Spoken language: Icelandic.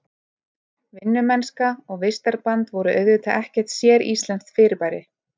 Vinnumennska og vistarband voru auðvitað ekkert séríslenskt fyrirbæri.